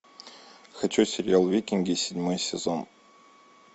хочу сериал викинги седьмой сезон